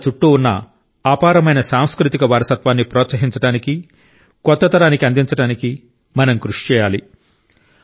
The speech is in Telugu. మన చుట్టూ ఉన్న అపారమైన సాంస్కృతిక వారసత్వాన్ని ప్రోత్సహించడానికి కొత్త తరానికి అందించడానికి మనం కృషి చేయాలి